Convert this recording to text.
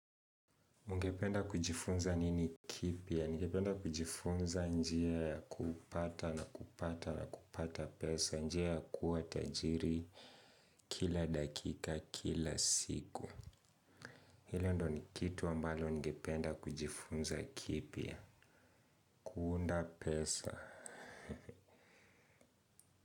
Nigependa kujifunza nini kipya? Nigependa kujifunza njia ya kupata na kupata na kupata pesa. Njia ya kuwa tajiri kila dakika kila siku. Hilo ndo ni kitu ambalo ningependa kujifunza kipya? Kuunda pesa.